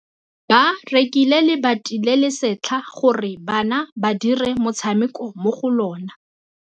Ba rekile lebati le le setlha gore bana ba dire motshameko mo go lona.